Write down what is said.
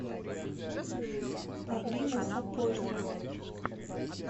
павлина сапожникова